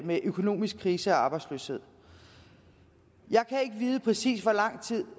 med økonomisk krise og arbejdsløshed jeg kan ikke vide præcis hvor lang tid